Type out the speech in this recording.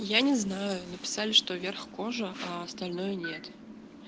я не знаю написали что верх кожа а остальное нет